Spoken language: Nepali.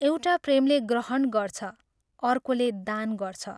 एउटा प्रेमले ग्रहण गर्छ, अर्कोले दान गर्छ।